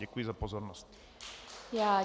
Děkuji za pozornost.